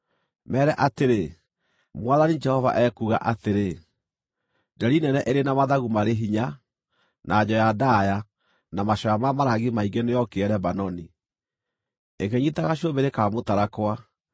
Meere atĩrĩ, ‘Mwathani Jehova ekuuga atĩrĩ: Nderi nene ĩrĩ na mathagu marĩ hinya, na njoya ndaaya, na macoya ma marangi maingĩ nĩyokire Lebanoni. Ĩkĩnyiita gacũmbĩrĩ ka mũtarakwa,